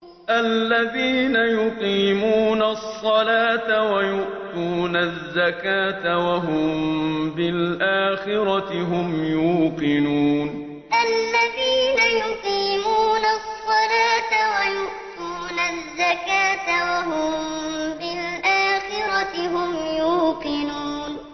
الَّذِينَ يُقِيمُونَ الصَّلَاةَ وَيُؤْتُونَ الزَّكَاةَ وَهُم بِالْآخِرَةِ هُمْ يُوقِنُونَ الَّذِينَ يُقِيمُونَ الصَّلَاةَ وَيُؤْتُونَ الزَّكَاةَ وَهُم بِالْآخِرَةِ هُمْ يُوقِنُونَ